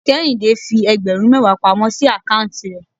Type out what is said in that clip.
Kéhìndé fi ẹgbẹ̀rún mẹwa pamọ́ sí account rẹ̀.